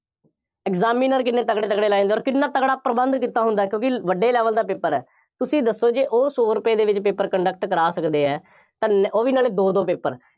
examiner ਕਿੰਨੇ ਤਕੜੇ ਤਕੜੇ ਲਾਏ ਹੁੰਦੇ ਆ, ਅੋਰ ਕਿੰਨ੍ਹਾ ਤਕੜਾ ਪ੍ਰਬੰਧ ਕੀਤਾ ਹੁੰਦਾ, ਕਿਉਕਿ ਵੱਡੇ level ਦਾ paper ਹੈ, ਤੁਸੀਂ ਦੱਸੋ ਜੇ ਉਹ ਸੋ ਰੁਪਏ ਦੇ ਵਿੱਚ paper conduct ਕਰਾ ਸਕਦੇ ਹੈ, ਤਾਂ ਨ ਉਹ ਵੀਂ ਨਾਲੇ ਦੋ ਦੋ paper